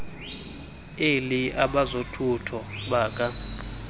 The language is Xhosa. elly abezothutho baka